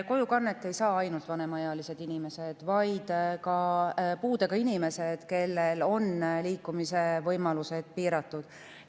Kojukannet ei ainult vanemaealised inimesed, vaid ka puudega inimesed, kelle liikumisvõimalused on piiratud.